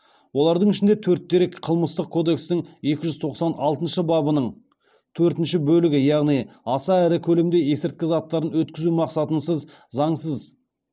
олардың ішінде төрт дерек қылмыстық кодекстің екі жүз тоқсан алтыншы бабының төртінші бөлігі яғни аса ірі көлемде есірткі заттарын